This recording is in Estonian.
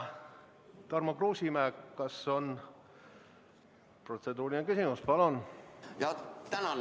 Tarmo Kruusimäe, kas on protseduuriline küsimus?